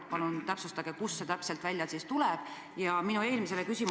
Palun täpsustage, kust see täpselt välja tuleb!